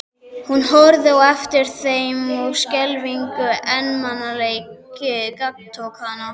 Hún horfði á eftir þeim og skelfilegur einmanaleiki gagntók hana.